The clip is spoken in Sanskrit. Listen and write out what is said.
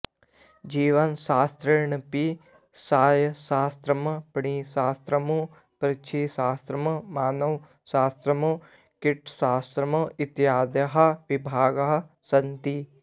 जीवशास्त्रेऽपि सस्यशास्त्रम् प्रणिशास्त्रम् पक्षिशास्त्रम् मानवशास्त्रम् कीटशास्त्रम् इत्यादयः विभागाः सन्ति